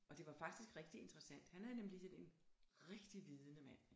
Og det var faktisk rigtig interessant han er nemlig sådan en rigtig vidende mand